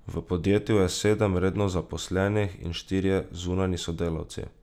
V podjetju je sedem redno zaposlenih in štirje zunanji sodelavci.